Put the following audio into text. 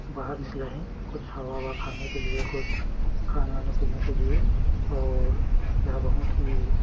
बाहर निकला है कुछ हवा-ववा खाने के लिए कुछ खाने-वाने पीने के लिए और यह बहुत ही --